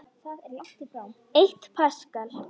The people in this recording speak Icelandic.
Eitt paskal